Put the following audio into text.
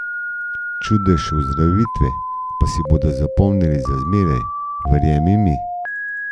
Čudež ozdravitve pa si bodo zapomnili za zmeraj, verjemi mi.